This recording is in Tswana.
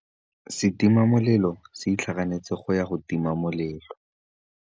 Setima molelô se itlhaganêtse go ya go tima molelô.